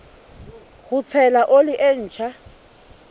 ho tshela oli e ntjha